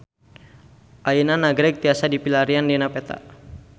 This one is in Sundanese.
Ayeuna Nagreg tiasa dipilarian dina peta